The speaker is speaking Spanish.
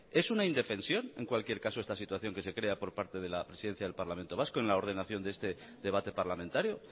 es una indefensión en cualquier caso esta situación que se crea por parte de la presidencia del parlamento vasco en la ordenación de este debate parlamentario